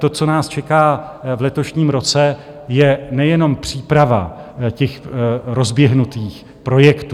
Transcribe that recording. To, co nás čeká v letošním roce, je nejenom příprava těch rozběhnutých projektů.